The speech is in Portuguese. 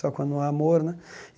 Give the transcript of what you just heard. Só quando há amor né.